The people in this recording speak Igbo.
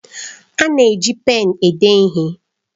A na-eji pén ede ihe.